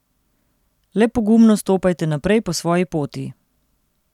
Le pogumno stopajte naprej po svoji poti!